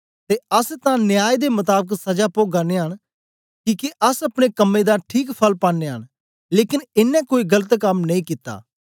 ते अस तां न्याय दे मताबक सजा पोगा नयाँ न किके अस अपने कम्में दा ठीक फल पानयां न लेकन एनें कोई गलत कम नेई कित्ता